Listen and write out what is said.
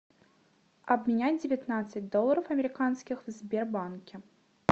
обменять девятнадцать долларов американских в сбербанке